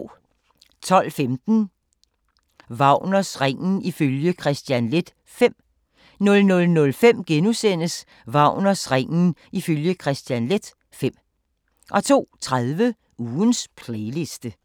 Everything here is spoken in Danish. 12:15: Wagners Ringen ifølge Kristian Leth V 00:05: Wagners Ringen ifølge Kristian Leth V * 02:30: Ugens playliste